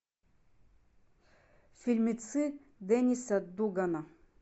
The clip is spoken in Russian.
фильмецы денниса дугана